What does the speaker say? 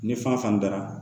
Ni fan fɛn dara